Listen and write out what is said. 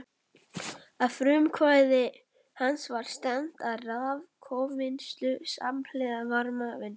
Að frumkvæði hans var stefnt að raforkuvinnslu samhliða varmavinnslu.